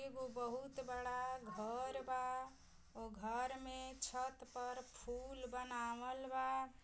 एगो बहुत बड़ा घर बा उ घर मे छत पर फूल बनावल बा।